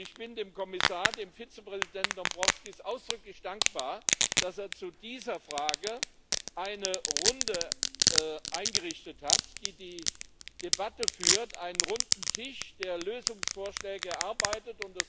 Ich bin dem Kommissar, dem Vizepräsidenten Dombrovskis ausdrücklich dankbar, dass er zu dieser Frage eine Runde eingerichtet hat, die die Debatte führt, einen runden Tisch, der Lösungsvorschläge erarbeitet.